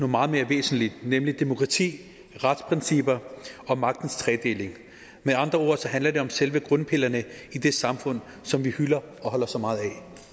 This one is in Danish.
meget mere væsentligt nemlig demokrati retsprincipper og magtens tredeling med andre ord handler det om selve grundpillerne i det samfund som vi hylder og holder så meget af